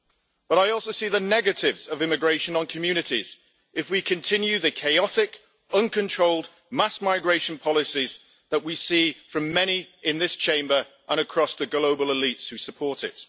But I also see the negatives of immigration on communities if we continue the chaotic, uncontrolled mass migration policies that we see from many in this Chamber and the global elites who support it.